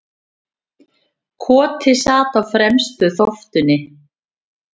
Koti sat á fremstu þóftunni.